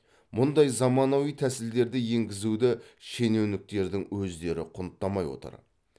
мұндай заманауи тәсілдерді енгізуді шенеуніктердің өздері құнттамай отыр